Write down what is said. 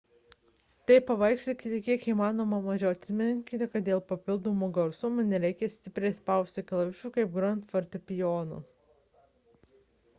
taip pavargsite kiek įmanoma mažiau atminkite kad dėl papildomo garsumo nereikia stipriai spausti klavišų kaip grojant fortepijonu